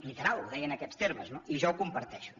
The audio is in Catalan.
literal ho deia en aquests termes no i jo ho comparteixo